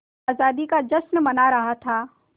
आज़ादी का जश्न मना रहा था